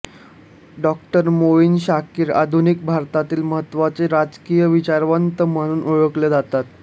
डॉ मोईन शाकिर आधुनिक भारतातील महत्वाचे राजकीय विचारवंत म्हणून ओळखले जातात